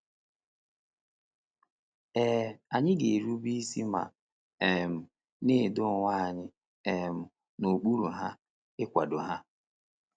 Ee, anyị ga-erube isi ma um na-edo onwe anyị um n’okpuru ha, ịkwado ha.